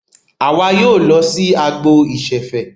Àwa yóò lọ sí agbo ìṣẹ̀fẹ̀.